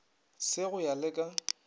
se go ya le ka